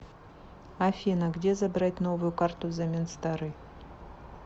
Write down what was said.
афина где забрать новую карту взамен старой